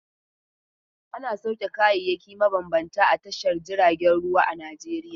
Ana sauke kayayyaki mabambanta a tashar jiragen ruwa a Najeriya.